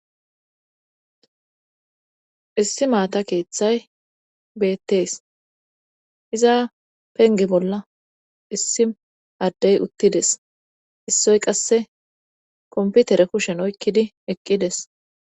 Issi maata keeththay beettees. iza pengge bolla issi addey uttides. issoy qasse komputere kushen oykkidi eqqides.